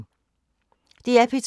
DR P2